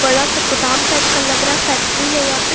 बड़ा सा गोदाम टाइप का लग रहा फैक्ट्री है यहां पे।